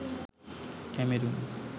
Cameroon